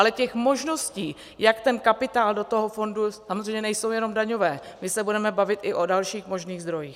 Ale těch možností, jak ten kapitál do toho fondu - samozřejmě nejsou jenom daňové, my se budeme bavit i o dalších možných zdrojích.